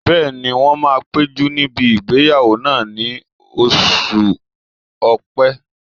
Bẹ́ẹ̀ni, wọ́n máa péjú níbi ìgbéyàwó náà ní oṣù ọ̀pẹ́